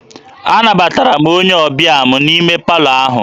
Anabatara m onye ọbịa m n'ime palọ ahụ